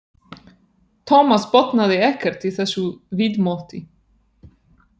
Thomas botnaði ekkert í þessu viðmóti.